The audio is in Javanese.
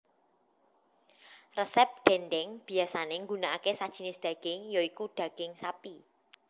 Resep dhèndhèng biyasané nggunakake sajinis dhaging ya iku dhaging sapi